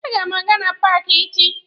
A ga m aga na paaki echi.